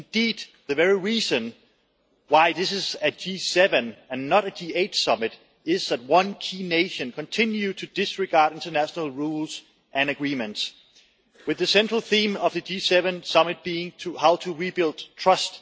Indeed, the very reason why this is a G7 and not a G8 summit is that one key nation continues to disregard international rules and agreements, with the central theme of the G7 summit being how to rebuild trust.